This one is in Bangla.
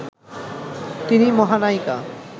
তিনি মহানায়িকা